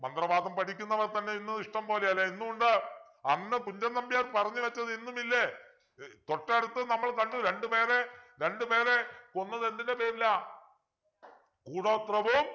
മന്ത്രവാദം പഠിക്കുന്നവർ തന്നെ ഇന്ന് ഇഷ്ടം പോലെയാ അല്ലെ ഇന്നും ഉണ്ട് അന്ന് കുഞ്ചൻ നമ്പ്യാർ പറഞ്ഞു വച്ചത് ഇന്നും ഇല്ലേ തൊട്ടടുത്ത നമ്മൾ കണ്ടു രണ്ടുപേരെ രണ്ടുപേരെകൊന്നത് എന്തിൻ്റെ പേരിലാ കൂടോത്രവും